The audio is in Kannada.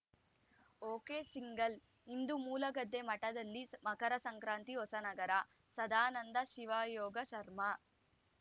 ಒಕೆಸಿಂಗಲ್‌ಇಂದು ಮೂಲಗದ್ದೆ ಮಠದಲ್ಲಿ ಮಕರ ಸಂಕ್ರಾಂತಿ ಹೊಸನಗರ ಸದಾನಂದ ಶಿವಯೋಗಾಶ್ರಮ